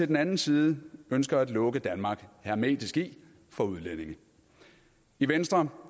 den anden side ønsker at lukke danmark hermetisk for udlændinge i venstre